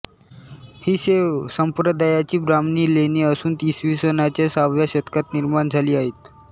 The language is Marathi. ही शैव संप्रदायाची ब्राह्मणी लेणी असून इसवी सनाच्या सहाव्या शतकात निर्माण झाली आहेत